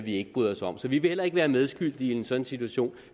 ikke bryder os om så vi vil heller ikke være medskyldige i en sådan situation